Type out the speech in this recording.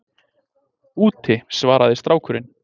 Úti- svaraði strákurinn.